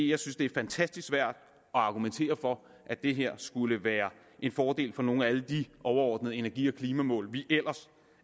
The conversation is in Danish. jeg synes det er fantastisk svært at argumentere for at det her skulle være en fordel for nogle af alle de overordnede energi og klimamål vi ellers